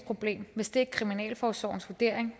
problem og hvis det er kriminalforsorgens vurdering